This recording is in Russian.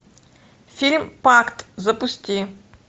фильм пакт запусти